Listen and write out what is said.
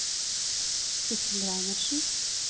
Sidsel Reinertsen